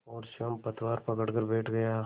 और स्वयं पतवार पकड़कर बैठ गया